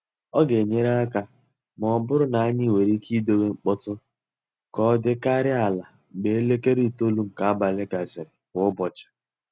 Ọ ga-enyere aka ma ọ bụrụ na anyị nwere ike idowe mkpọtụ ka ọ dịkarịa ala mgbe elekere itolu nke abalị gasịrị kwa ụbọchị.